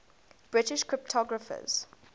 british cryptographers